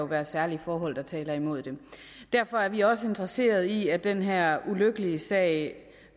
være særlige forhold der taler imod det derfor er vi også interesseret i at den her ulykkelige sag